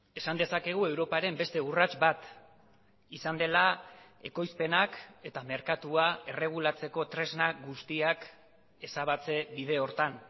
esan dezakegu europaren beste urrats bat izan dela ekoizpenak eta merkatua erregulatzeko tresna guztiak ezabatze bide horretan